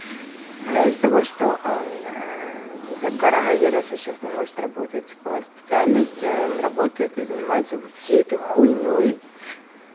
но из-за того что она за коронавирусом сейчас не может работать по специальности он работает и занимаются вовсе эту х